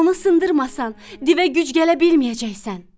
Onu sındırmasan, divə güc gələ bilməyəcəksən.